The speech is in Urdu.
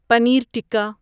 پنیر ٹکا